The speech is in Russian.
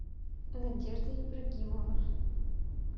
надежда ибрагимова